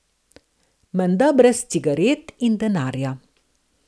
Menda brez cigaret in denarja.